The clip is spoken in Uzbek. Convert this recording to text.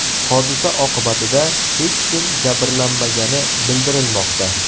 Hodisa oqibatida hech kim jabrlanmagani bildirilmoqda.